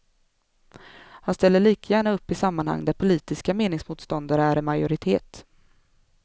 Han ställer lika gärna upp i sammanhang där politiska meningsmotståndare är i majoritet.